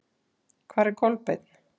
Hvar er Kolbeinn?